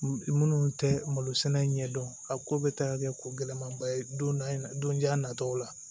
Minnu tɛ malo sɛnɛ ɲɛ dɔn a ko bɛ taa kɛ ko gɛlɛmaba ye donj'a nataw la